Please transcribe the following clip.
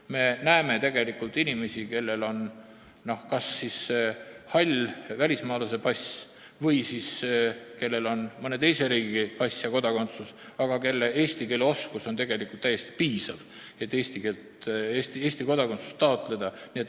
Me näeme tegelikult ka neid inimesi, kellel on kas hall välismaalase pass või mõne teise riigi pass ja kodakondsus, ehkki nende eesti keele oskus on täiesti piisav selleks, et Eesti kodakondsust taotleda.